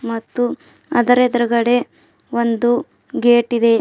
ಮತ್ತು ಅದರ ಎದ್ರುಗಡೆ ಒಂದು ಗೇಟ್ ಇದೆ.